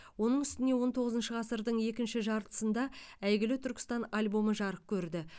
оның үстіне он тоғызыншы ғасырдың екінші жартысында әйгілі түркістан альбомы жарық көрді